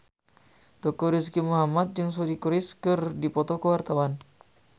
Teuku Rizky Muhammad jeung Suri Cruise keur dipoto ku wartawan